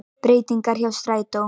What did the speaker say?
Breytingar hjá strætó